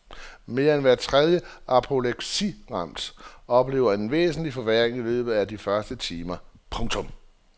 Mere end hver tredje apopleksiramt oplever en væsentlig forværring i løbet af de første timer. punktum